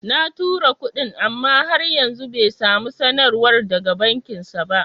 Na tura kuɗin, amma har yanzu bai samu sanarwar daga bankinsa ba.